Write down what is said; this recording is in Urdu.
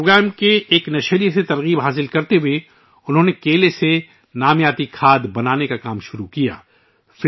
اس پروگرام کی ایک قسط سے متاثر ہو کر ، انہوں نے کیلے سے نامیاتی کھاد بنانے کا کام شروع کیا